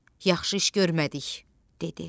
Yaxşı iş görmədik, dedi.